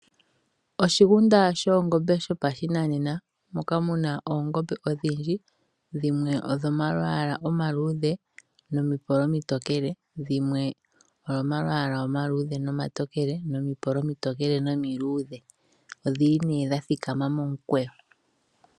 Oshigunda dhoongombe shopa shinanena moka muna oongombe odhindji, dhimwe odhina omalwaala omaluudhe nomipolo omitokele, dhimwe odho omalwaala omaluudhe nomatokele nomipolo omiluudhe odha thikama momukweyo.